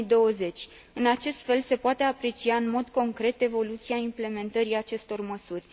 2020. În acest fel, se poate aprecia în mod concret evoluția implementării acestor măsuri.